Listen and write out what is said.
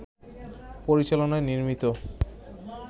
পরিচালনায় নির্মিত